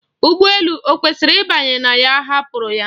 Ụgbọ elu o kwesịrị ịbanye na ya hapụrụ ya.